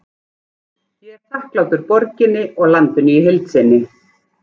Ég er þakklátur borginni og landinu í heild sinni.